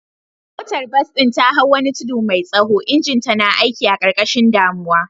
Motar bas ɗin ta hau wani tudu mai tsaho, injinta na aiki a ƙarƙashin damuwa.